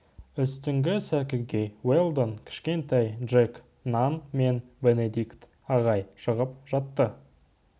үстіңгі сәкіге уэлдон кішкентай джек нан мен бенедикт ағай шығып жатты